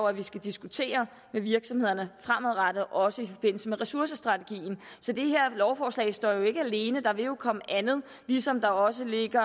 at vi skal diskutere med virksomhederne fremadrettet også i forbindelse med ressourcestrategien så det her lovforslag står jo ikke alene der vil jo komme andet ligesom der også ligger